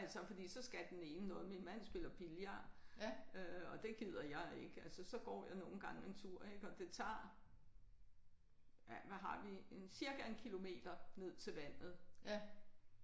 Altså fordi så skal den ene noget min mand spiller billard øh og det gider jeg ikke altså så går jeg nogle gange en tur ik og det tager ja hvad har vi en cirka 1 kilometer ned til vandet